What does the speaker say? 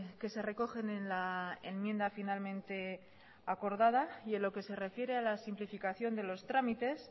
que se recogen en la enmienda finalmente acordada y en lo que se refiere a la simplificación de los trámites